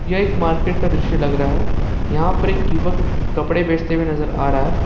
यह एक मार्केट का दृश्य लग रहा है यहां पर एक युवक कपड़े बेचते हुए नजर आ रहा है।